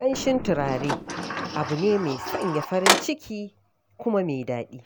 Ƙanshin turare abu ne mai sanya farin ciki kuma mai daɗi.